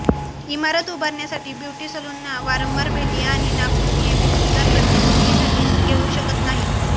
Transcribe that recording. इमारत उभारण्यासाठी ब्युटी सलूनना वारंवार भेटी आणि नाखून नियमित सुधार प्रत्येक मुलीसाठी घेऊ शकत नाही